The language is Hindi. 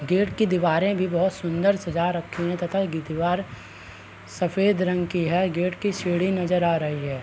गेट के दीवारें भी बहुत सुन्दर सजा रखी हैं तथा गी दीवार सफेद रंग की है। गेट की सीढ़ी नजर आ रही है।